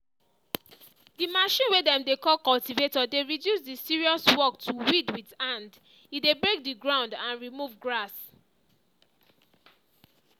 the machine way dem dey call cultivator dey reduce the serious work to weed with hand e dey break the ground and remove grass.